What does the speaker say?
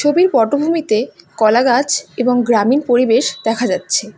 ছবির পটভূমিতে কলা গাছ এবং গ্রামীণ পরিবেশ দেখা যাচ্ছে।